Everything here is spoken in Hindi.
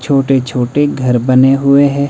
छोटे छोटे घर बने हुए हैं।